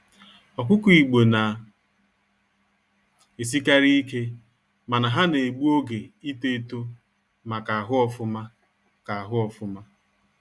Ọkụkọ igbo na esikarị ike, mana ha na-egbu oge ịto eto ma ka ahụ ofụma. ka ahụ ofụma.